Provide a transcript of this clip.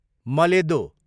मलेदो